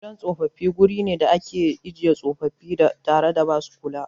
Gidan tsofaffi guri ne da ake ajiye tsofaffi tare da ba su kula.